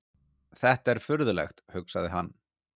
Þetta er furðulegt, hugsaði hann.